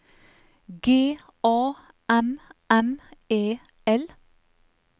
G A M M E L